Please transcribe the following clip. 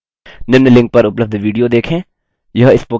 निम्न link पर उपलब्ध video देखें